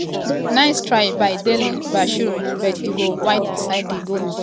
nice try by dele-bashiru but e go wide beside di goalpost.